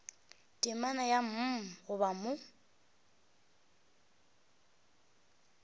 temana ya mm gona mo